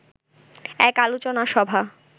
এক আলোচনা সভা